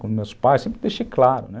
Com meus pais, sempre deixei claro, né?